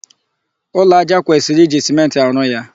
Ụlọ aja kwesịrị iji sèmenti arụ ya.